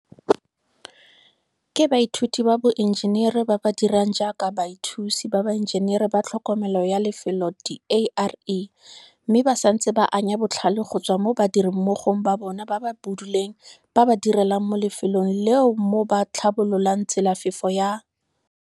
ke baithuti ba boenjenere ba ba dirang jaaka bathusi ba baenjenere ba tlhokomelo ya lefelo diARE mme ba santse ba anya botlhale go tswa mo badirimmogong ba bona ba ba buduleng ba ba direlang mo lefelong leo mo ba tlhabololang tselafefo ya